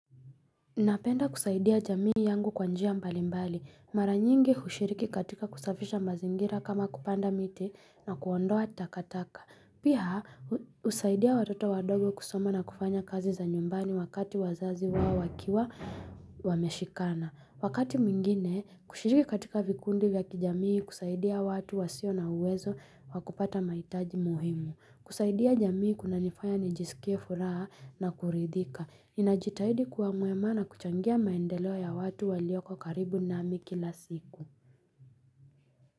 Napenda kusaidia jamii yangu kwa njia mbalimbali. Mara nyingi hushiriki katika kusafisha mazingira kama kupanda miti na kuondoa takataka. Pia husaidia watoto wadogo kusoma na kufanya kazi za nyumbani wakati wazazi wao wakiwa wameshikana. Wakati mwingine, kushiriki katika vikundi vya kijamii kusaidia watu wasio na uwezo wa kupata mahitaji muhimu. Kusaidia jamii kuna nifanya nijisikie furaha na kuridhika. Ninajitahidi kuwa mwema na kuchangia maendeleo ya watu walioko karibu nami kila siku.